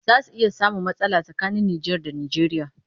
Za a iya samun matsala tsakanin Nijar da Nijeriya